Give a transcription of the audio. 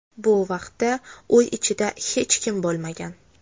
Bu vaqtda uy ichida hech kim bo‘lmagan.